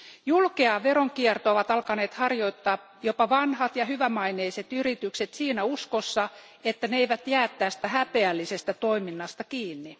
Julkeaa veronkiertoa ovat alkaneet harjoittaa jopa vanhat ja hyvämaineiset yritykset siinä uskossa, että ne eivät jää tästä häpeällisestä toiminnasta kiinni.